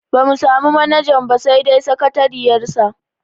Bamu samu manajan ba sai dai sakatariyar sa.